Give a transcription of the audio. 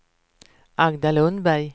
Agda Lundberg